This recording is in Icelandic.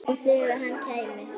Og þegar þangað kæmi.